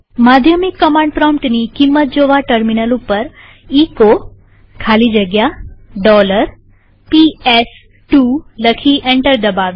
માધ્યમિક કમાંડ પ્રોમ્પ્ટની કિંમત જોવા ટર્મિનલ ઉપર એચો ખાલી જગ્યા PS2 લખી એન્ટર દબાવીએ